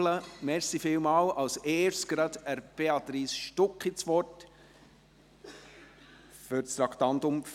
Deshalb gebe ich jetzt als Erster Béatrice Stucki das Wort zum Traktandum 44.